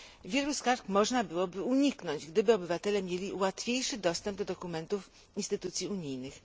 Wielu skarg można byłoby uniknąć, gdyby obywatele mieli łatwiejszy dostęp do dokumentów instytucji unijnych.